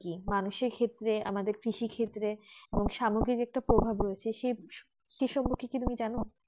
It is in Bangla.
কি মানুষ এর ক্ষেত্রের আমাদের কৃষি ক্ষেত্রের খুব স্বাভাবিক একটা প্রভাব রয়েছে সেই সম্পর্কে তুমি কিছু যান